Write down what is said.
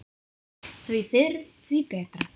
Því fyrr því betra.